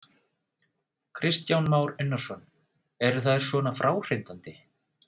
Kristján Már Unnarsson: Eru þær svona fráhrindandi?